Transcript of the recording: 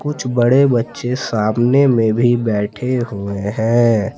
कुछ बड़े बच्चे सामने में भी बैठे हुए हैं।